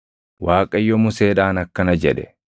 Waaqayyo Museedhaan akkana jedhe;